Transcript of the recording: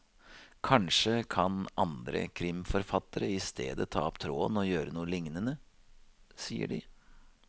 Kanskje kan andre krimforfattere i stedet ta opp tråden og gjøre noe lignende, sier de.